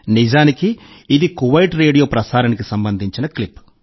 నిజానికి ఇది Kuwait radio ప్రసారానికి సంబంధించిన క్లిప్